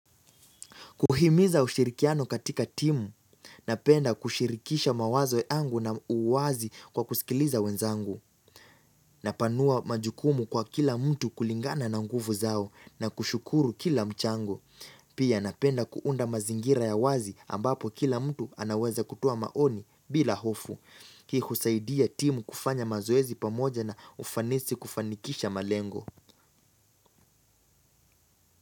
Kuhimiza ushirikiano katika timu. Napenda kushirikisha mawazo ya angu na uwazi kwa kusikiliza wenzangu. Napanua majukumu kwa kila mtu kulingana na nguvu zao na kushukuru kila mchango. Pia napenda kuunda mazingira ya wazi ambapo kila mtu anaweza kutoa maoni bila hofu. Hii husaidia timu kufanya mazoezi pamoja na ufanisi kufanikisha malengo.